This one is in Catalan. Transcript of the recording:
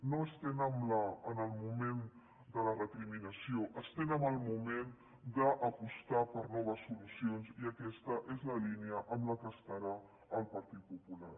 no estem en el moment de la recriminació estem en el moment d’apostar per noves solucions i aquesta és la línia en la qual estarà el partit popular